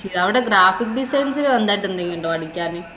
അവിടെ graphics design ഇല് എന്തെങ്കിലും പഠിക്കാന്.